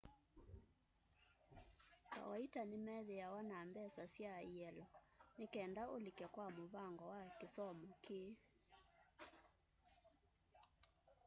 kawaita nimeithwa na mbesa sya ielo nikenda ulike kwa muvango wa kisomo kii